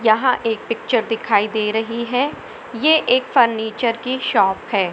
यहाँ एक पिक्चर दिखाई दे रही है ये एक फर्नीचर की शॉप है।